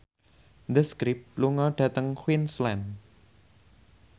The Script lunga dhateng Queensland